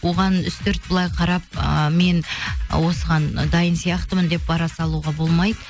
оған үстірт былай қарап ыыы мен осыған дайын сияқтымын деп бара салуға болмайды